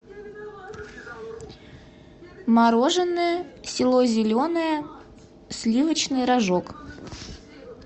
мороженое село зеленое сливочный рожок